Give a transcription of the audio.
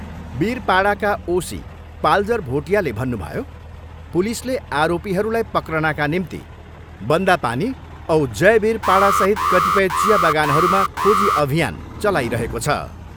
बीरपाडाका OC Paljor भोटियाले भन्नुभयो, पुलिसले आरोपीहरूलाई पक्रनका निम्ति बन्दापानी औ जयबीरपाडासहित कतिपय चिया बगानहरूमा खोजी अभियान चलाइरहेको छ।